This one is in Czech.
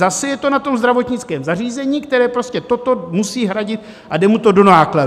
Zase je to na tom zdravotnickém zařízení, které prostě toto musí hradit, a jde mu to do nákladů.